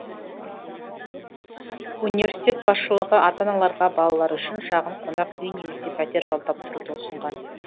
университет басшылығы ата аналарға балалар үшін шағын қонақ үй немесе пәтер жалдап тұруды ұсынған